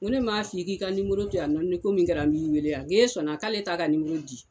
Ko ne m maa f'i k'i k'i ka to yan ni ko min kɛra n b'i wele yan n'e sɔnna k'ale t' ka di.